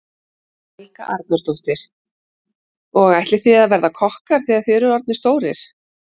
Helga Arnardóttir: Og ætlið þið að verða kokkar þegar þið eruð orðnir stórir?